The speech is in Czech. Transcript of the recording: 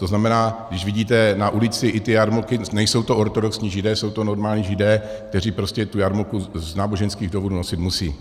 To znamená, když vidíte na ulici i ty jarmulky, nejsou to ortodoxní židé, jsou to normální židé, kteří prostě tu jarmulku z náboženských důvodů nosit musí.